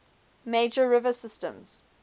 major river systems